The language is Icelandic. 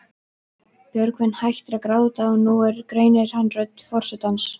Björgvin hættir að gráta og nú greinir hann rödd forsetans.